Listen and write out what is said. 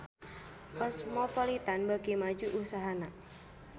Cosmopolitan beuki maju usahana